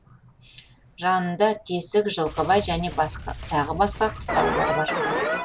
жанында тесік жылқыбай және тағы басқа қыстаулар бар